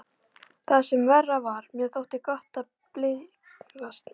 Það sem verra var, mér þótti gott að blygðast mín.